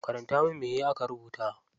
Karanta min me aka rubuta.